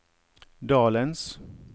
dalens